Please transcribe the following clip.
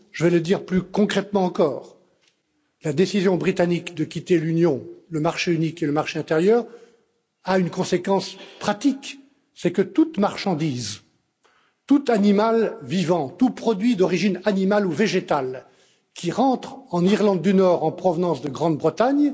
Je vais le dire plus concrètement encore la décision britannique de quitter l'Union, le marché unique et le marché intérieur a une conséquence pratique, qui est que toute marchandise, tout animal vivant, tout produit d'origine animale ou végétale qui entre en Irlande du Nord en provenance de Grande Bretagne